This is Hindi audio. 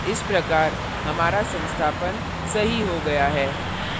इस प्रकार हमारा संस्थापन सही हो गया है